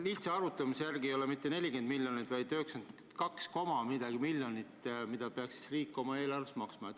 Lihtsa arvutuse järgi ei ole vaja mitte 40 miljonit, vaid 92 koma midagi miljonit, mis riik peaks oma eelarvest maksma.